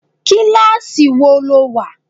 Kíláàsì wo lo wà?